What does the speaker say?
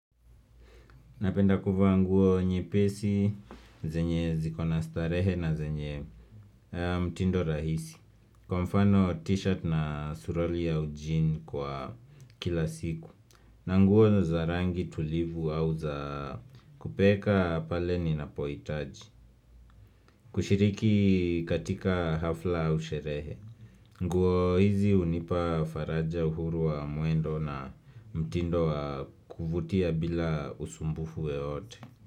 Napenda kuvaa nguo nyepesi, zenye zikona starehe na zenye mtindo rahisi Kwa mfano t-shirt na suruali ya ujini kwa kila siku na nguo za rangi tulivu au za kupeka pale ninapoitaji kushiriki katika hafla ua sherehe nguo hizi unipa faraja uhuru wa muendo na mtindo wa kuvutia bila usumbufu wewote.